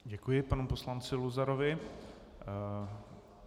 Děkuji panu poslanci Luzarovi.